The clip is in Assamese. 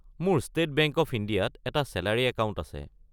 মোৰ ষ্টেট বেংক অৱ ইণ্ডিয়াত এটা ছেলাৰী একাউণ্ট আছে।